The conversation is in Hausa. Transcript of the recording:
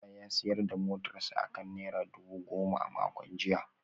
Musa ya sayar da motarsa ​​akan naira dubu goma a makon jiya